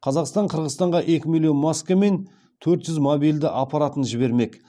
қазақстан қырғызстанға екі миллион маска мен төрт жүз мобильді аппаратын жібермек